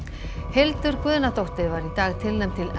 Hildur Guðnadóttir var í dag tilnefnd til